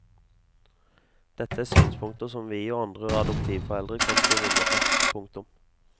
Dette er synspunkter som vi og andre adoptivforeldre kan skrive under på. punktum